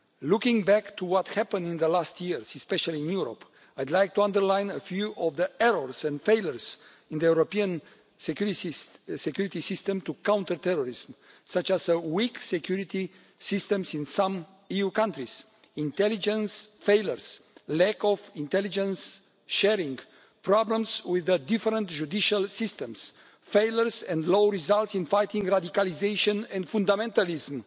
Looking back to what happened in recent years, especially in Europe, I'd like to underline a few of the errors and failures in the European security system to counter terrorism, such as the weak security systems in some EU countries, intelligence failures, lack of intelligence sharing, problems with the different judicial systems, failures and low results in fighting radicalisation and fundamentalism,